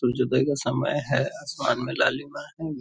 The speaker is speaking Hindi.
सूरज उदय का समय है आसमान में लालिमा है।